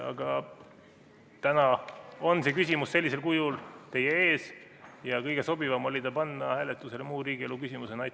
Aga täna on see küsimus sellisel kujul teie ees ja kõige sobivam oli see panna hääletusele muu riigielu küsimusena.